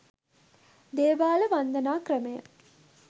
දේවාල වන්දනා ක්‍රමය